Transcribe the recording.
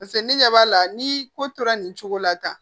Paseke ne ɲɛ b'a la ni ko tora nin cogo la tan